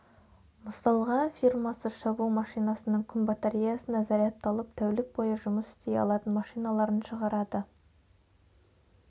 мысалыға фирмасы шабу машинасының күн батареясына зарядталып тәулік бойы жұмыс істей алатын машиналарын шығарады